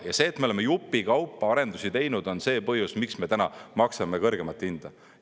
Ja see, et me oleme jupikaupa arendusi teinud, on see põhjus, miks me täna maksame kõrgemat hinda.